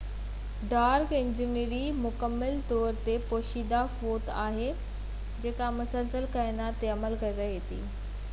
dark energy مڪمل طور تي پوشيده قوت آھي جيڪا مسلسل ڪائنات تي عمل ڪري رھي آھي